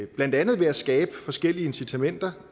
blandt andet ved at skabe forskellige incitamenter